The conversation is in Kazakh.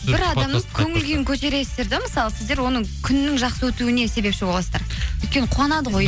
бір адамның көңілкүйін көтересіздер де мысалы сіздер оның күнінің жақсы өтуге себепші боласыздар өйткені қуанады ғой